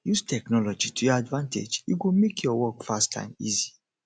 use technology to your advantage e go make your work fast and easy